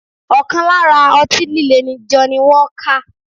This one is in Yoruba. Ọkàn lára ọtí líle ni Johnny walker